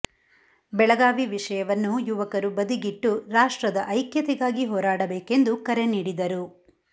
ಬೆಳಗಾವಿ ವಿಷಯವನ್ನು ಯುವಕರು ಬದಿಗಿಟ್ಟು ರಾಷ್ಟ್ತ್ರದ ಐಕ್ಯತೆಗಾಗಿ ಹೋರಾಡಬೇಕೆಂದು ಕರೆ ನೀಡಿದರು